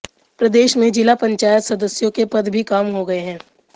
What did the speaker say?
प्रदेश में जिला पंचायत सदस्यों के पद भी कम हो गये हैं